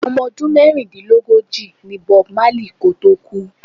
Omo ọdún mẹ́rìndínlógóji ní Bob Marley kò tó kú.